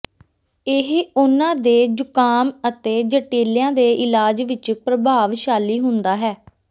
ਇਹ ਉਹਨਾਂ ਦੇ ਜ਼ੁਕਾਮ ਅਤੇ ਜਟਿਲਿਆਂ ਦੇ ਇਲਾਜ ਵਿਚ ਪ੍ਰਭਾਵਸ਼ਾਲੀ ਹੁੰਦਾ ਹੈ